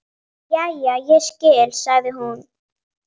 Jæja, ég skil, sagði hún.